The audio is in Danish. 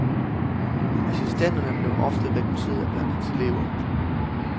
Assistenterne blev ofte rekrutteret blandt hans elever.